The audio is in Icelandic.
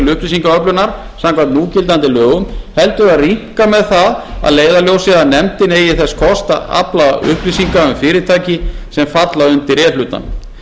til upplýsingaöflunar samkvæmt núgildandi lögum heldur að rýmka með það að leiðarljósi að nefndin eigi þess kost að afla upplýsinga um fyrirtæki sem falla undir e hlutann